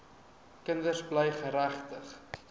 kinders bly geregtig